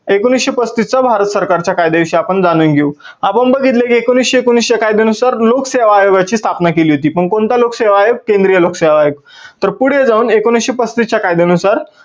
एकोणविसशे पस्तीस चा भारत सरकारच्या कायद्या विषयी आपण जाणून घेऊ. आपण बघितल की एकोणविसशे एकोणवीस च्या कायद्यानुसार लोकसेवा आयोगाची स्थापना केली होती. पण कोणता लोकसेवा आयोग? केंद्रीय लोकसेवा आयोग. तर पुढे जाऊन एकोणविसशे पसतीस च्या कायद्यानुसार